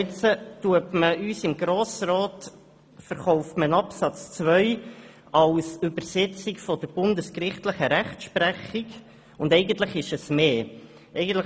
Absatz 2 wird uns im Grossen Rat als Übersetzung der bundesgerichtlichen Rechtsprechung verkauft, obwohl es mehr ist.